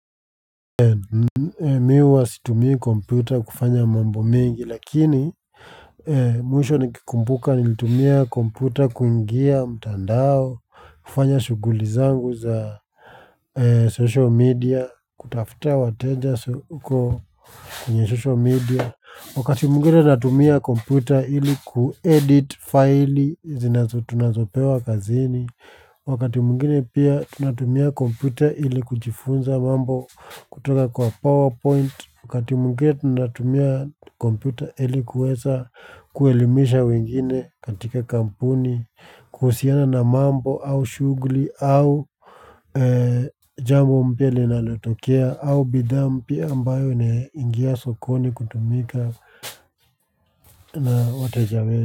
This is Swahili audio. Mi huwa situmii kompyuta kufanya mambo mingi lakini mwisho nikikumbuka nilitumia kompyuta kuingia mtandao kufanya shughuli zangu za social media kutafuta wateja so uko kwenye social media wakati mwingine natumia kompyuta ili kuedit file zinazo tunazopewa kazini wakati mwingine pia tunatumia kompyuta ili kujifunza mambo kutoka kwa powerpoint wakati mwingine tunatumia kompyuta ili kuweza kuelimisha wengine katika kampuni kuhusiana na mambo au shughuli au jambo mpya linalotokea au bidhaa mpya ambayo inaingia sokoni kutumika na wataja wetu.